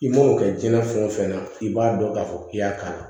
I man'o kɛ jiyɛn fɛn o fɛn na i b'a dɔn k'a fɔ k'i y'a kala